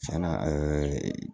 Cɛn na ɛɛ